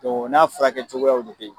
u n'a furakɛ cogoyaw de bɛ ye.